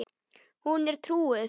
Hún er trúuð.